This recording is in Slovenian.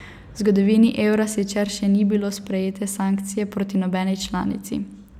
V zgodovini evra sicer še niso bile sprejete sankcije proti nobeni članici.